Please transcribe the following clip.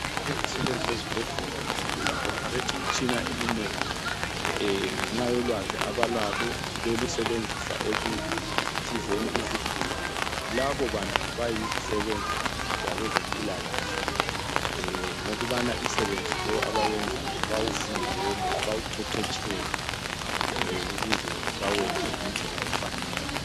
Izisebenzi zesibhedlela zi operate imitshina eminengi ngenxa yolwazi abalalo belusebenzisa ekusizeni izigulane labo bantu bayizisebenzi zabezempilakahle ngokubana umsebenzi lowu abawenzayo bawufundele bawuqeqetshele ukuze bawenze ngendlela efanele.